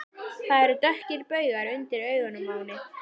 Það eru dökkir baugar undir augunum á henni.